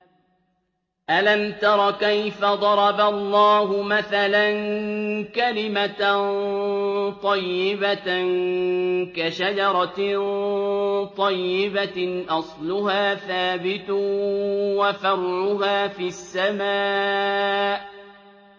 أَلَمْ تَرَ كَيْفَ ضَرَبَ اللَّهُ مَثَلًا كَلِمَةً طَيِّبَةً كَشَجَرَةٍ طَيِّبَةٍ أَصْلُهَا ثَابِتٌ وَفَرْعُهَا فِي السَّمَاءِ